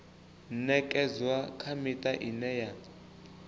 ṅekedzwa kha miṱa ine ya